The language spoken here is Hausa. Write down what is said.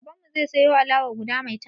Baban zai siyo alawa guda maitan